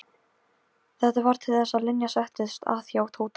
Hetturnar hafa þann ókost að þær eru ekki alveg öruggar.